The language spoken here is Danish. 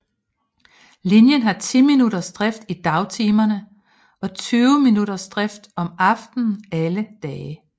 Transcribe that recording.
Linjen har 10 minuttersdrift i dagtimerne og 20 minuttersdrift om aftenen alle dage